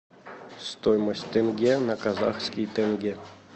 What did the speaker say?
стоимость тенге на казахский тенге